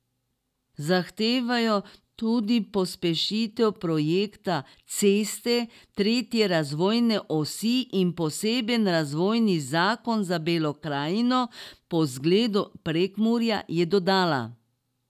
Zahtevajo tudi pospešitev projekta ceste tretje razvojne osi in poseben razvojni zakon za Belo krajino po zgledu Prekmurja, je dodala.